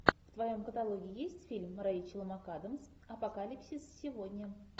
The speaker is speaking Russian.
в твоем каталоге есть фильм рейчел макадамс апокалипсис сегодня